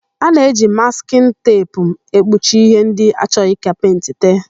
A na-eji maskịn teepu ekpuchi íhé ndị achọghị ka pentị tee.